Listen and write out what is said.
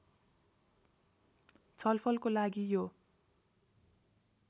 छलफलको लागि यो